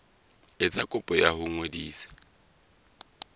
etsa kopo ya ho ngodisa